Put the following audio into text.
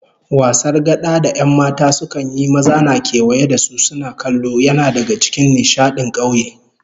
Wasar gada da 'yan mata sukan yi, maza na kewaye da su suna kallo, yana daga cikin nishadin kauye